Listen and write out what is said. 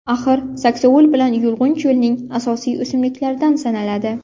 Axir, saksovul bilan yulg‘un cho‘lning asosiy o‘simliklaridan sanaladi.